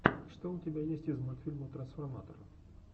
что у тебя есть из мультфильмов трансформатора